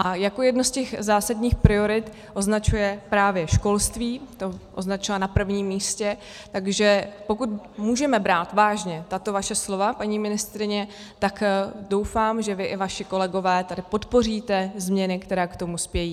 A jako jednu z těch zásadních priorit označuje právě školství, to označila na prvním místě, takže pokud můžeme brát vážně tato vaše slova, paní ministryně, tak doufám, že vy i vaši kolegové tady podpoříte změny, které k tomu spějí.